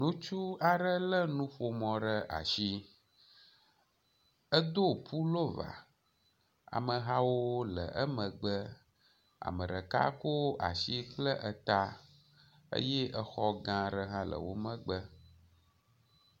Ŋutsu aɖe le nuƒomɔ ɖe asi. Edo pulova. Amehawo le emegbe. Ame ɖeka ko asi kple eta eye exɔ gã aɖe hã le wo megbe.